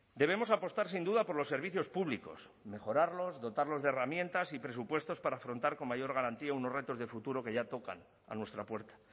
debemos apostar sin duda por los servicios públicos mejorarlos dotarlos de herramientas y presupuestos para afrontar con mayor garantía unos retos de futuro que ya tocan a nuestra puerta